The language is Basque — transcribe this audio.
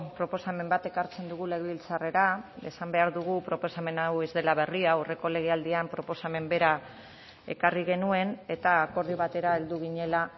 proposamen bat ekartzen dugu legebiltzarrera esan behar dugu proposamen hau ez dela berria aurreko legealdian proposamen bera ekarri genuen eta akordio batera heldu ginela